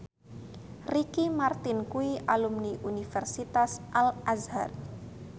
Ricky Martin kuwi alumni Universitas Al Azhar